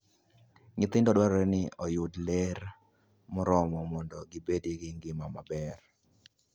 Nyithindo dwarore ni oyud ler moromo mondo gibed gi ngima maber.